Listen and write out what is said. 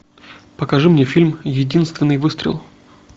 покажи мне фильм единственный выстрел